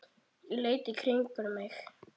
Ég leit í kringum mig.